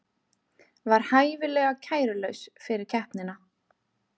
Var hæfilega kærulaus fyrir keppnina